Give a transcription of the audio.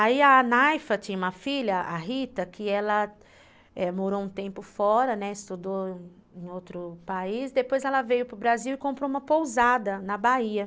Aí a Naifa tinha uma filha, a Rita, que ela morou um tempo fora, estudou em outro país, depois ela veio para o Brasil e comprou uma pousada na Bahia.